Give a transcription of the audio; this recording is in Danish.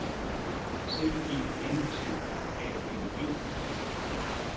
C E N T R A L E